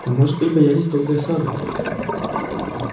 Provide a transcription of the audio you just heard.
а может быть боялись долгой осады